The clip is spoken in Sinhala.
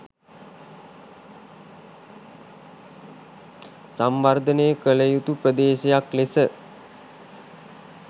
සංවර්ධනය කළ යුතු ප්‍රදේශයක් ලෙස